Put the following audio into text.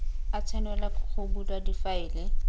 a tshwanelwa go bulwa difaele